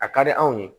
A ka di anw ye